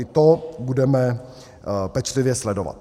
I to budeme pečlivě sledovat.